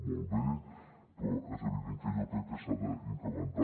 molt bé però és evident que jo crec que s’ha d’incrementar